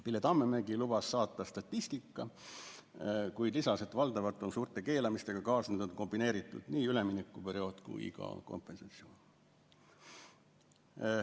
Pille Tammemägi lubas saata statistika, kuid lisas, et valdavalt on suurte keelamistega kaasnenud kombineeritult nii üleminekuperiood kui ka kompensatsioon.